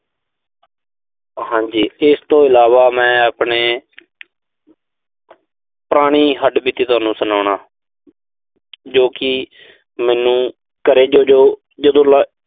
ਹਾਂਜੀ, ਇਸ ਤੋਂ ਇਲਾਵਾ ਮੈਂ ਆਪਣੇ ਪੁਰਾਣੀ ਹੱਡਬੀਤੀ ਤੁਹਾਨੂੰ ਸੁਣਾਉਣਾ। ਜੋ ਕਿ ਘਰੇ ਜਦੋਂ, ਜਦੋਂ ਮੈਂ